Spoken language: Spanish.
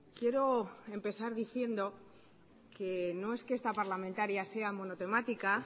quiero empezar diciendo que no es que esta parlamentaria sea monotemática